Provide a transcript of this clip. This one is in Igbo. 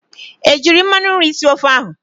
Ejiiri mmanụ nri sie ofe ahụ?